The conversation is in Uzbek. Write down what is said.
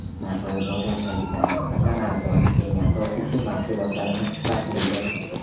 Narxlar bozordagidan nisbatan arzon, eng asosiysi, mahsulotlarimiz sifatlidir”.